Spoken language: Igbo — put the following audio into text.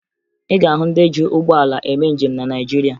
Ị ga-ahụ ndị ji ụgbọala eme njem na Naịjirịa